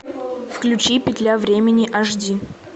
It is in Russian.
включи петля времени аш ди